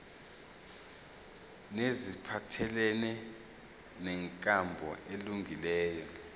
neziphathelene nenkambo elungileyo